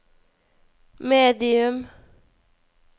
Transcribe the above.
medium